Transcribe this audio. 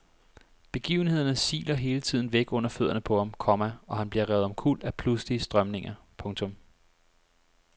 Begivenhederne siler hele tiden væk under fødderne på ham, komma og han bliver revet omkuld af pludselige strømninger. punktum